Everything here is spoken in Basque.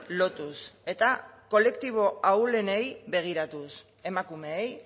lotuz eta kolektibo ahulenei begiratuz emakumeei